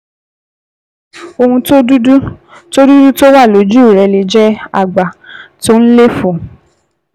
Ohun dúdú tó dúdú tó wà lójú rẹ lè jẹ́ àgbá tó ń léfòó